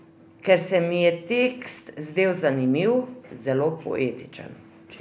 Ker se mi je tekst zdel zanimiv, zelo poetičen.